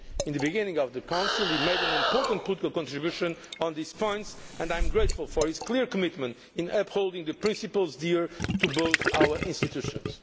At the beginning of the Council he made an important political contribution on these points and I am grateful for his clear commitment in upholding the principles dear to both our institutions.